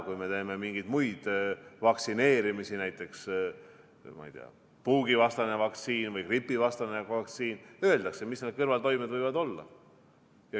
Kui me teeme mingeid muid vaktsineerimisi, näiteks puugivastase vaktsiini või gripivastase vaktsiiniga, siis öeldakse, millised need kõrvaltoimed võivad olla.